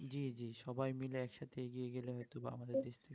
জি জি সবাই মিলে একসাথে এগিয়ে গেলে হয়তো বা আমাদের দেশটা